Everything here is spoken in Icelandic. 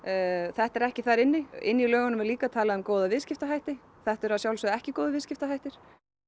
þetta er ekki þar inni inni í lögunum er talað um góða viðskiptahætti þetta eru að sjálfsögðu ekki góðir viðskiptahættir